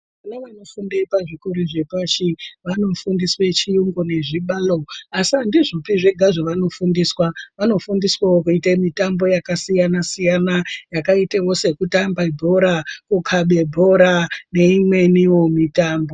Vana vanofunde pazvikora zvepashi, vanofundiswe chiyungu nezvibalo, asi andizvopi zvega zvevanofundiswa, vanofundiswavo kuite mitambo yakasiyana-siyana, yakaitawo sekutambe bhora, kukabe bhora neimweniwo mitambo.